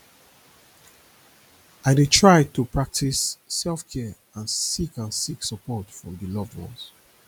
i dey try to practice selfcare and seek and seek support from di loved ones